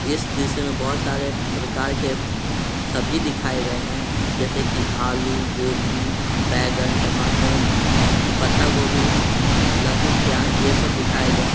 इस दृश्य में बहोत सारे प्रकार के सब्जी दिखाए गए हैं जैसे कि आलू गोभी बैगन टमाटर पत्ता गोभी लहसुन प्याज यह सब दिखाया गया है।